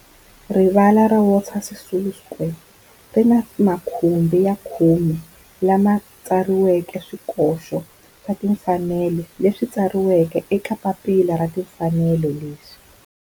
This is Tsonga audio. Rivala ra Walter Sisulu Square ri ni makhumbi ya khume lawa ma tsariweke swikoxo swa timfanelo leswi tsariweke eka papila ra timfanelo leswi